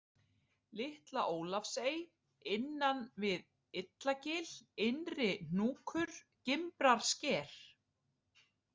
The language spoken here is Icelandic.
Litla-Ólafsey, Innan við Illagil, Innri-Hnúkur, Gimbrarsker